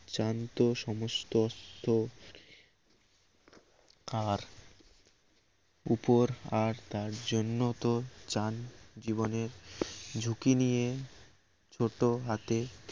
চান তো সমস্ত অস্ত আর উপর আর তার জন্য তো যান জীবনের ঝুঁকি নিয়ে চোট হাতে